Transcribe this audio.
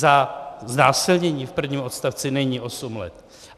Za znásilnění v prvním odstavci není osm let.